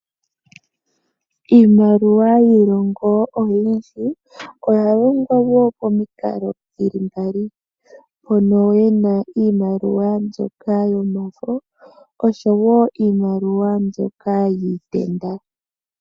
Iimaliwa yiilongo oyindji oya longwa momikalo dhili mbali iimaliwa mpono yena iimaliwa mbyoka yomafo oshowo Iimaliwa mbyoka yiitenda.